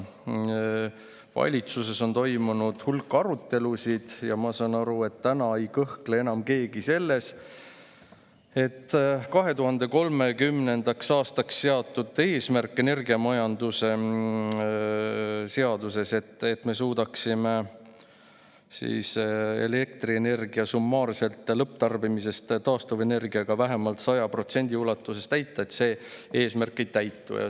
Valitsuses on toimunud hulk arutelusid, ja ma saan aru, et enam ei kahtle keegi selles, et energiamajanduse seaduses 2030. aastaks seatud eesmärk, et me suudaksime elektrienergia summaarset lõpptarbimist vähemalt 100% taastuvenergiaga, ei täitu.